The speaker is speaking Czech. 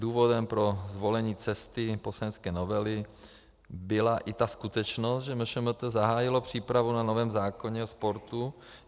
Důvodem pro zvolení cesty poslanecké novely byla i ta skutečnost, že MŠMT zahájilo přípravu na novém zákoně o sportu.